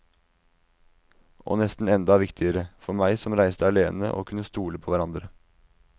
Og nesten enda viktigere, for meg som reiste alene, å kunne stole på hverandre.